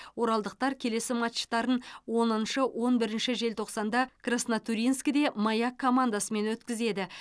оралдықтар келесі матчтарын оныншы он бірінші желтоқсанда краснотурьинскіде маяк командасымен өткізеді